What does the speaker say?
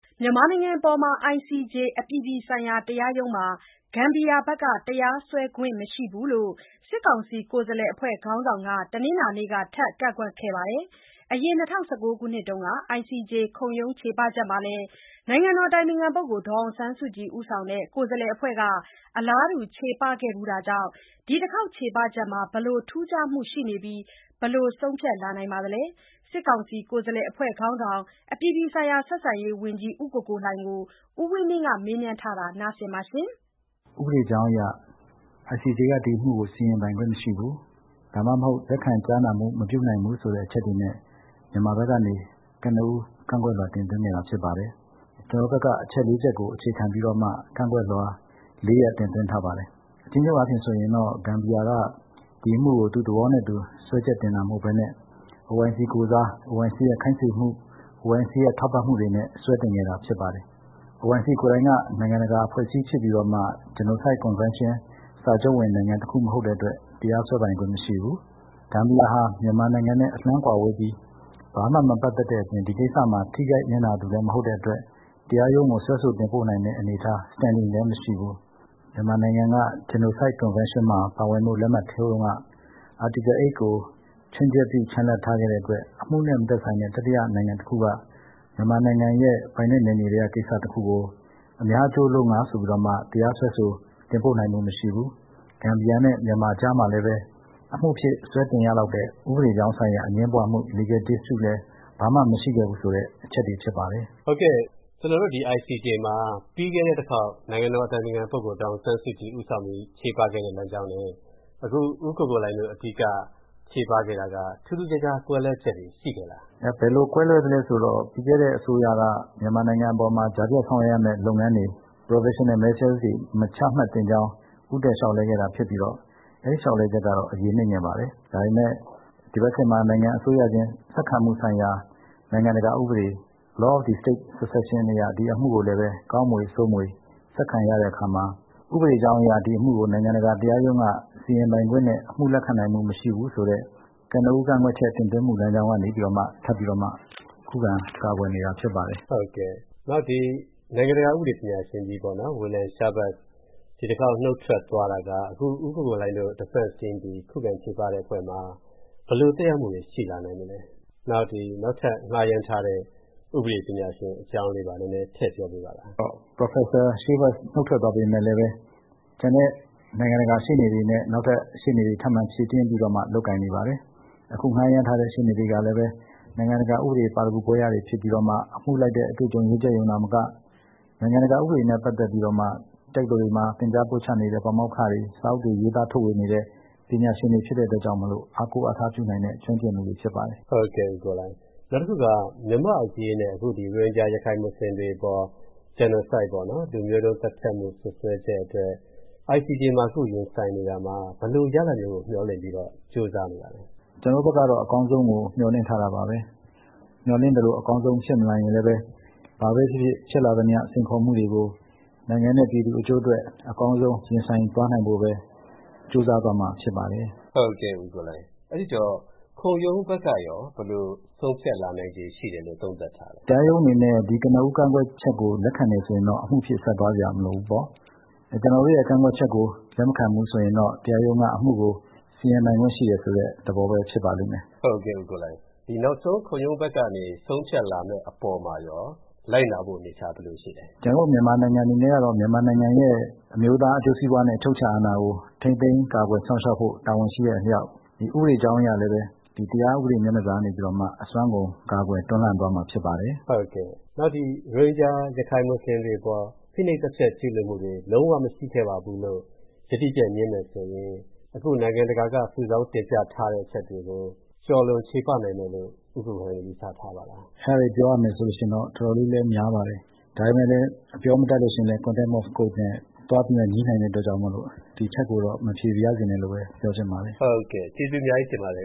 မြန်မာနိုင်ငံအပေါ် ICJ အပြည်ပြည်ဆိုင်ရာတရားရုံးမှာ ဂမ်ဘီယာဘက်က တရားစွဲခွင့်မရှိဘူးလို့ စစ်ကောင်စီ ကိုယ်စားလှယ်အဖွဲ့ ခေါင်းဆောင်က တနင်္လာနေ့က ထပ်ကန့်ကွက်ခဲ့ပါတယ်။ အရင် ၂၀၁၉ က ICJ ခုံရုံးချေပချက်မှာလည်း နိုင်ငံတော်အတိုင်ပင်ခံပုဂ္ဂိုလ် ဒေါ်အောင်ဆန်းစုကြည်ဦးဆောင်တဲ့ ကိုယ်စားလှယ်အဖွဲ့က အလားတူ ချေပခဲ့ဖူူးတာကြောင့် ဒီတခေါက်ချေပချက်မှာ ဘယ်လို ထူးခြားမူရှိနေပြီး ဘယ်လိုဆုံးဖြတ်လာနိုင်ပါလဲ။ စစ်ကောင်စီ ကိုယ်စားလှယ်အဖွဲ့ခေါင်းဆောင် အပြည်ပြည်ဆိုင်ရာဆက်ဆံရေးဝန်ကြီး ဦးကိုကိုလှိုင်ကို ကိုဝင်းမင်းက မေးမြန်းထားပါတယ်။ ဥပဒေကြောင်းအရ ဒီအမှုကို ICJ က စီရင်ပိုင်ခွင့်မရှိဘူး။ ဒါမှမဟုတ် လက်ခံကြားနာမှု မပြုနိုင်ဘူးဆိုတဲ့ အချက်တွေနဲ့ မြန်မာဘက်ကနေ ကနဦး ကန့်ကွက်လွှာတင်သွင်းခဲ့တာဖြစ်ပါတယ်။ ကျနော်တို့ဘက်က အချက်လေးချက်ကို အခြေခံပြီးတော့မှ ကန့်ကွက်လွှာ လေးရပ်တင်သွင်းထားပါတယ်။ အကျဉ်းချုပ်အားဖြင့်ဆိုရင်တော့ ဂမ်ဘီယာက ဒီအမှုကိုသူ့သဘောနဲ့သူစွဲချက်တင်တာမဟုတ်ဘဲနဲ့ OIC ကိုယ်စား၊ OIC ရဲ့ခိုင်းစေမှု၊ OIC ရဲ့ထောက်ပံ့မှုတွေနဲ့စွဲတင်ခဲ့တာဖြစ်ပါတယ်။ OIC ကိုယ်တိုင်က နိုင်ငံတကာအဖွဲ့အစည်းဖြစ်ပြီးတော့မှ Genocide Convention စာချုပ်ဝင်နိုင်ငံတခုမဟုတ်တဲ့အတွက် တရားစွဲပိုင်ခွင့်မရှိဘူး။ ဂမ်ဘီယာဟာ မြန်မာနိုင်ငံနဲ့အလှမ်းကွာဝေးပြီး ဘာမှမပတ်သက်တဲ့အပြင် ဒီကိစ္စမှာထိခိုက်နစ်နာသူလည်းမဟုတ်တဲ့အတွက် တရားရုံးကို စွဲဆိုတင်ပို့နိုင်တဲ့အနေအထား Standing လည်းမရှိဘူး။ မြန်မာနိုင်ငံက Genocide Convention မှာပါဝင်ဖို့ လက်မှတ်ထိုးတုန်းက Article 8 ကို ခြွင်းချက်ပြု ချန်လှပ် ထားခဲ့တဲ့အတွက် အမှုနဲ့မသက်ဆိုင်တဲ့ တတိယနိုင်ငံတခုက မြန်မာနိုင်ငံရဲ့ ပိုင်နက်နယ်မြေထဲကကိစ္စတခုကို အများအကျိုးအလို့ငှာဆိုပြီးတော့မှ တရားစွဲဆို တင်ပို့နိုင်မှုမရှိဘူး။ ဂမ်ဘီယာနဲ့မြန်မာကြားမှာလည်းပဲ အမှုဖြစ်၊ စွဲတင်ရလောက်တဲ့ဥပဒေကြောင်းဆိုင်ရာအငြင်းပွါးမှု Legal Dispute လည်း ဘာမှမရှိခဲ့ဘူးဆိုတဲ့ အချက်တွေဖြစ်ပါတယ်။ မေး။ ။ ဟုတ်ကဲ့။ ပြီးခဲ့တဲ့အခေါက် နိုင်ငံတော်အတိုင်ပင်ခံပုဂ္ဂိုလ် ဒေါ်အောင်ဆန်းစုကြည် ဦးဆောင်ပြီး ချေပခဲ့တဲ့လမ်းကြောင်းနဲ့ အခု ဦးကိုကိုလှိုင်တို့အဓိကချေပခဲ့တာက ထူးထူးခြားခြားကွဲလွဲချက်တွေ ရှိနေလား။ ဖြေ။ ။ ဘယ်လိုကွဲလွဲသလဲဆိုတော့ ပြီးခဲ့တဲ့အစိုးရက မြန်မာနိုင်ငံအပေါ်မှာ ကြားဖြတ်ဆောင်ရွက်ရမယ့်လုပ်ငန်းတွေ Provincial Measures တွေ မချမှတ်သင့်ကြောင်း ဦးတိုက်လျှောက်လဲခဲ့တာဖြစ်ပြီးတော့ အဲဒီလျှောက်လဲချက်ကတော့ အရေးနိမ့်ခဲ့ပါတယ်။ ဒါပေမယ့် ဒီဘက်ခေတ်မှာ နိုင်ငံအစိုးရချင်း ဆက်ခံမှုဆိုင်ရာ နိုင်ငံတကာဥပဒေ Law of the State Succession အရ ဒီအမှုကိုလည်းပဲ ကောင်းမွေ၊ ဆိုးမွေ ဆက်ခံရတဲ့အခါမှာ ဥပဒေကြောင်းအရ ဒီအမှုကို နိုင်ငံတကာတရားရုံးက စီရင်ပိုင်ခွင့်နဲ့ အမှုလက်ခံနိုင်မှုမရှိဘူးဆိုတဲ့ ကနဦးကန့်ကွက်ချက်တင်သွင်းမှုလမ်းကြောင်းကနေပြီးတော့မှ ထပ်ပြီးတော့မှ ခုခံကာကွယ်နေတာဖြစ်ပါတယ်။ မေး။ ။ ဟုတ်ကဲ့၊ နောက် နိုင်ငံတကာဥပဒေပညာရှင်ကြီး William Schabas နုတ်ထွက်သွားတာက အခု ဦးကိုကိုလှိုင်တို့ Defense Team ခုခံချေပတဲ့အဖွဲ့မှာ ဘယ်လို သက်ရောက်မှုရှိလာနိုင်မလဲ၊ နောက်ပြီး နောက်ထပ်ငှါးရမ်းထားတဲ့ ဥပဒေပညာရှင်ရဲ့အကြောင်းလေးပါ နည်းနည်းထည့်ပြောပြပါလား။ ဖြေ။ ။ ဟုတ်ကဲ့။ ပရော်ဖက်ဆာ Schabas နုတ်ထွက်သွားပေမယ့်လည်း ကျန်တဲ့နိုင်ငံတကာရှေ့နေတွေနဲ့ နောက်ထပ်ရှေ့နေတွေ ထပ်မံဖြည့်တင်းပြီးတော့မှ လုပ်ကိုင်နေပါတယ်။ အခုငှားရမ်းထားတဲ့ရှေ့နေတွေကလည်း နိုင်ငံတကာဥပဒေပါရဂူဘွဲ့ရတွေဖြစ်ပြီးတော့မှ အမှုလိုက်တဲ့အတွေ့အကြုံရင့်ကျက်ရုံသာမက နိုင်ငံတကာဥပဒေတွေနဲ့ပတ်သက်ပြီးတော့မှ တက္ကသိုလ်တွေမှာ သင်ကြားပို့ချနေတဲ့ပါမောက္ခတွေ၊ စာအုပ်တွေရေးသားထုတ်ဝေနေတဲ့ ပညာရှင်တွေဖြစ်တဲ့အတွက်ကြောင့်မို့လို့ အားကိုးအားထားပြုနိုင်တဲ့ ကျွမ်းကျင်ပညာရှင်တွေဖြစ်ကြပါတယ်။ မေး။ ။ နောက်တခုက မြန်မာပြည်အရေးနဲ့ အခု ရိုဟင်ဂျာ ရခိုင်မွတ်ဆလင်တွေအပေါ် Genocide လူမျိုးတုံး သတ်ဖြတ်မှု စွပ်စွဲချက်တွေအတွက် ICJ မှာရင်ဆိုင်နေရတာမှာ ဘယ်လိုရလာဒ်မျိုးကို မျှော်လင့်ပြီး ကြိုးစားနေတာပါလဲ။ ဖြေ။ ။ ကျနော်တို့ဘက်ကတော့ အကောင်းဆုံးကိုမျှော်လင့်ထားတာပါပဲ။ မျှော်လင့်သလို အကောင်းဆုံးဖြစ်မလာရင်လည်းပဲ ဘာပဲဖြစ်ဖြစ်၊ ဖြစ်လာသမျှ စိန်ခေါ်မှုတွေကို နိုင်ငံနဲ့ပြည်သူအကျိုးအတွက် အကောင်းဆုံးရင်ဆိုင်သွားနိုင်ဖို့ပဲ ကြိုးစားသွားမှာဖြစ်ပါတယ်။ မေး။ ။ ဟုတ်ကဲ့၊ ဦးကိုကိုလှိုင်။ အဲ့ဒိတော့ ခုံရုံးဘက်ကရော ဘယ်လိုဆုံးဖြတ်လာနိုင်ခြေရှိတယ်လို့ သုံးသပ်ထားလဲ။ ဖြေ။ ။ တရားရုံးအနေနဲ့ ဒီကနဦးကန့်ကွက်ချက်ကို လက်ခံတယ်ဆိုရင်တော့ အမှုအဖြစ် ဆက်သွားစရာမလိုဘူးပေါ့။ ကျနော်တို့ရဲ့ကန့်ကွက်ချက်ကို လက်မခံဘူးဆိုရင်တော့ တရားရုံးကအမှုကို စီရင်ပိုင်ခွင့်ရှိတယ်ဆိုတဲ့သဘောပဲဖြစ်ပါလိမ့်မယ်။ မေး။ ။ ဟုတ်ကဲ့၊ ဦးကိုကိုလှိုင်၊ နောက်ဆုံး ခုံရုံးဘက်ကနေ ဆုံးဖြတ်လာမယ့်အပေါ်မှာရော လိုက်နာဖို့ အနေအထား ဘယ်လိုရှိလဲ။ ဖြေ။ ။ ကျနော်တို့ မြန်မာနိုင်ငံအနေနဲ့ကတော့ မြန်မာနိုင်ငံရဲ့ အမျိုးသားအကျိုးစီးပွါးနဲ့ အချုပ်အခြာအာဏာကို ထိန်းသိမ်းကာကွယ်စောင့်ရှောက်ဖို့တာဝန်ရှိတဲ့အလျှောက် ဥပဒေကြောင်းအရလည်းပဲ တရားဥပဒေမျက်နှာစာကနေပြီးတော့မှ အစွမ်းကုန် ကာကွယ်တွန်းလှန်သွားမှာဖြစ်ပါတယ်။ မေး။ ။ ဟုတ်ကဲ့။ နောက် ရိုဟင်ဂျာ ရခိုင်မွတ်ဆလင်တွေအပေါ် ဖိနှိပ်သတ်ဖြတ်ကျူးလွန်မှုတွေ လုံးဝ မရှိခဲ့ပါဘူးလို့ ယတိပြတ်ငြင်းမယ်ဆိုရင် နိုင်ငံတကာကစုဆောင်းတင်ပြထားတဲ့အချက်တွေကို ကျော်လွန်ချေပနိုင်မယ်လို့ ဦးကိုကိုလှိုင်တို့ ယူဆထားပါလား။ ဖြေ။ ။ အဲဒါတွေကိုပြောရမယ်ဆိုရင်တော့ တော်တော်လေးလည်းများပါတယ်။ ဒါပေမယ့်လည်း အပြောမတတ်လို့ရှိရင်လည်း Contempt of Court နဲ့သွားပြီးတော့ ငြိနိုင်တာမို့လို့ ဒီအချက်ကိုတော့ မဖြေပါရစေနဲ့လို့ပဲ ပြောချင်ပါတယ်။ ဟုတ်ကဲ့ ကျေးဇူးအများကြီးတင်ပါတယ်